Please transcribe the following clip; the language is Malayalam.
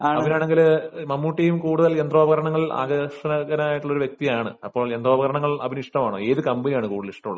അബിൻ ആണെങ്കിൽ മമ്മൂട്ടിയും കൂടുതൽ യന്ത്രോപകരണങ്ങൾ ആകൃഷ്ടനായിട്ടുള്ള വ്യക്തിയാണ് ഏത് കമ്പനിയാണ് കൂടുതൽ ഇഷ്ടം ഉള്ളത്